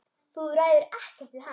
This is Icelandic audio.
Þú ræður ekkert við hann.